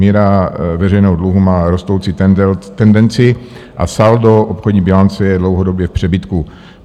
Míra veřejnou dluhu má rostoucí tendenci a saldo obchodní bilance je dlouhodobě v přebytku.